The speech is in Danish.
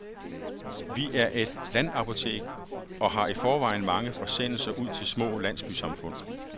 Vi er et landapotek, og har i forvejen mange forsendelser ud til de små landsbysamfund.